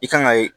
I kan ka